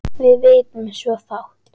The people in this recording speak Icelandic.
Við vitum svo fátt.